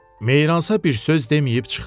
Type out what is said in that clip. Meyransa bir söz deməyib çıxdı.